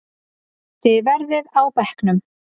Þið verðið á bekknum!